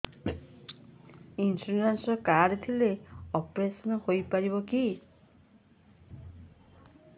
insurance card ଥିଲେ operation ହେଇପାରିବ କି